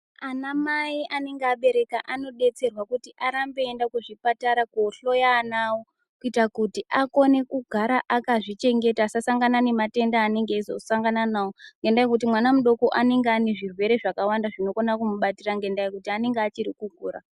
Anamai anenge abereka anodetserwa kuti arambe eiende kuzvipatara kohloya ana awo kuita kuti akone kugara akazvichengeta asasangana nematenda aanenge eisangana nawo, ngendaa yekuti mwana mudoko anenge ane zvirwere zvakawanda zvinokona kumubatira ngendaa yekuti anenge achiri kukura.